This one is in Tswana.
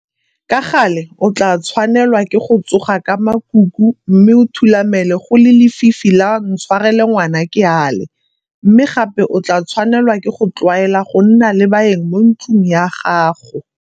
Ka gale o tla tshwanelwa ke go tsoga ka makuku mme o thulamele go le lefifi la ntshwarele ngwana ke ale, mme gape o tla tshwanelwa ke go tlwaela go nna le baeng mo ntlong ya gago.